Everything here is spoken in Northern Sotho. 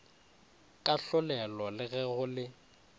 kahlolelo le ge go le